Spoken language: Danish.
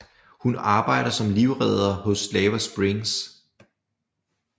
Hun arbejder som livredder hos Lava Springs